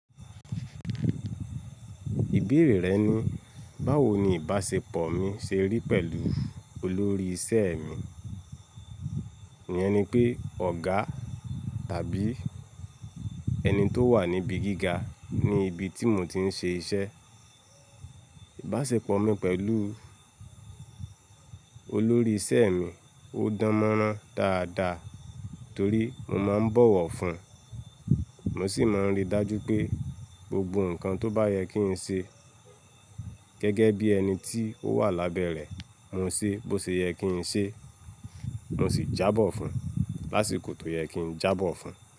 Ìbéèrè rẹ ni, báwo ni ìbáṣepọ̀ mi ṣe rí pẹ̀lú olórí iṣẹ́ mi? Iyẹn ni pé ọ̀gá tàbí ẹni tó wà níbi gíga ní ibi tí mo ti ń ṣe iṣẹ́. Ìbáṣepọ̀ mi pẹ̀lú olórí iṣẹ́ mi ó dánmọ́rán dáadáa torí mo máa ń bọ̀wọ̀ fún un, mo sì máa ń rí i dájú pé gbogbo nǹkan tó bá yẹ kí n ṣe gẹ́gẹ́ bí ẹni tí ó wà lábẹ́ rẹ̀ mo ṣe bó ṣe yẹ kí n ṣe, mo sì jábọ̀ fún un lásìkò tó yẹ kí n jábọ̀ fún un.